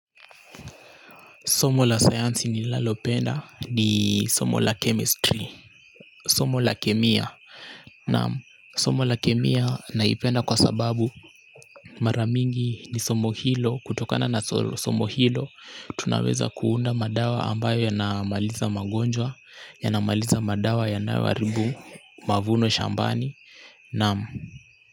Somo la sayansi ninalopenda ni somo la chemistry, somo la kemia naam, somo la kemia naipenda kwa sababu mara mingi ni somo hilo, kutokana na somo hilo tunaweza kuunda madawa ambayo yanamaliza magonjwa, yanamaliza madawa yanaoharibu, mavuno shambani. Naam.